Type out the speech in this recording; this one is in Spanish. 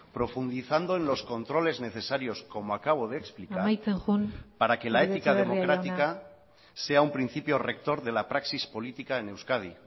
profundizando en controles necesarios como acabo de explicar amaitzen joan uribe etxebarria jauna para que la ética democrática sea un principio rector de la praxis política en euskadi